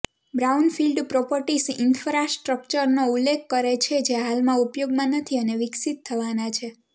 brownfield properties ઈન્ફ્રાસ્ટ્રક્ચરનો ઉલ્લેખ કરે છે જે હાલમાં ઉપયોગમાં નથી અને વિકસિત થવાના છે